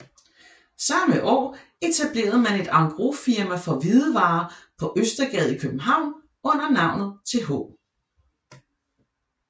Samme år etablerede man et engrosfirma for hvidevarer på Østergade i København under navnet Th